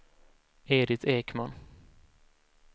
Edit Ekman